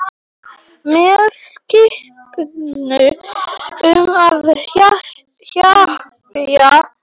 Með skipun um að hypja sig.